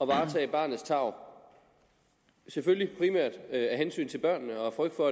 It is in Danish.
varetage barnets tarv selvfølgelig primært af hensyn til børnene og af frygt for